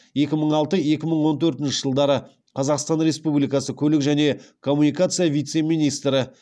екі мың алты екі мың он төртінші жылдары қазақстан республикасы көлік және коммуникация вице министрі